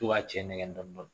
To k'a cɛ nɛgɛn dɔɔnin dɔɔnin